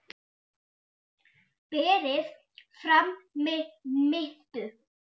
Berið fram með mintu.